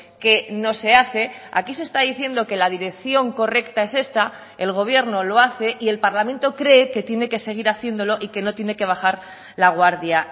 que no se hace aquí se está diciendo que la dirección correcta es esta el gobierno lo hace y el parlamento cree que tiene que seguir haciéndolo y que no tiene que bajar la guardia